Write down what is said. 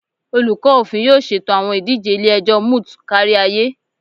Olukọ Ofin yoo ṣeto awọn idije ile-ẹjọ moot kariaye